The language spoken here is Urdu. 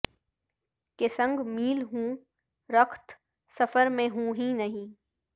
کہ سنگ میل ہوں رخت سفر میں ہوں ہی نہیں